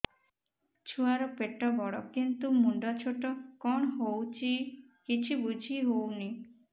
ଛୁଆର ପେଟବଡ଼ କିନ୍ତୁ ମୁଣ୍ଡ ଛୋଟ କଣ ହଉଚି କିଛି ଵୁଝିହୋଉନି